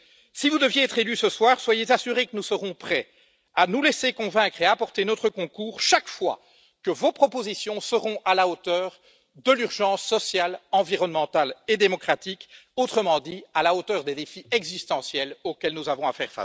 Si vous deviez être élue ce soir, soyez assurée que nous serons prêts à nous laisser convaincre et à apporter notre concours chaque fois que vos propositions seront à la hauteur de l'urgence sociale, environnementale et démocratique, autrement dit à la hauteur des défis existentiels auxquels nous avons à faire face.